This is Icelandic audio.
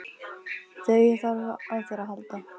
Þegar ég þarf á þér að halda.